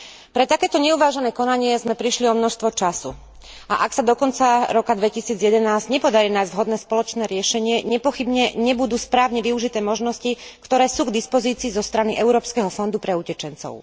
Pre takéto neuvážené konanie sme prišli o množstvo času a ak sa do konca roka 2011 nepodarí nájsť vhodné spoločné riešenie, nepochybne nebudú správne využité možnosti, ktoré sú k dispozícii zo strany Európskeho fondu pre utečencov.